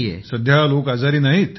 सध्या लोक आजारी नाहीत